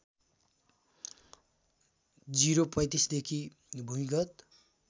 ०३५ देखि भूमिगत